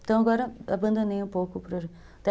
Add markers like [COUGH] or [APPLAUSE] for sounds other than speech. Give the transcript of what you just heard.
Então, agora, abandonei um pouco o. [UNINTELLIGIBLE]